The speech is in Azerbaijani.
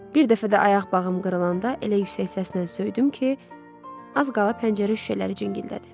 Bir dəfə də ayaq bağım qırılanda elə yüksək səslə söydüm ki, az qala pəncərə şüşələri cingildədi.